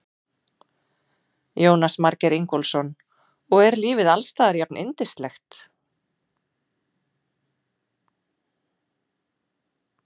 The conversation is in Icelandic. Jónas Margeir Ingólfsson: Og er lífið alls staðar jafnyndislegt?